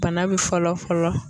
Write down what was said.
Bana be fɔlɔ fɔlɔ